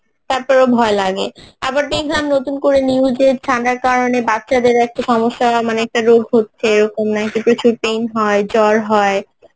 তারপরেও ভয় লাগে. আবার দেখলাম নতুন করে news এ ঠান্ডার কারণে বাছাদের একটা সমস্যা মানে একটা রোগ হচ্ছে এইরকম হয় যে প্রচুর pain হয় জ্বর হয়